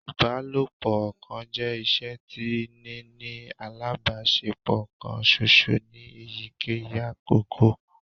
Ibalopo ọkan jẹ iṣe ti nini alabaṣepọ kan ṣoṣo ni eyikeyi akoko